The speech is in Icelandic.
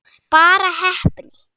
Bara heppni?